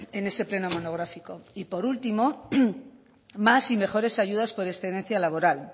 en ese pleno monográfico y por último más y mejores ayudas por excedencia laboral